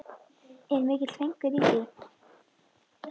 Er mikill fengur í því.